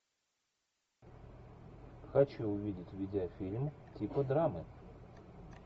хочу увидеть видеофильм типа драмы